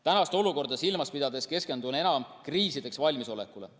Tänast olukorda silmas pidades keskendun enam kriisideks valmisolekule.